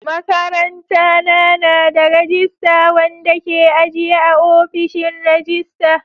Makarantana na da rajista wanda ke ajiye a ofishin rajista.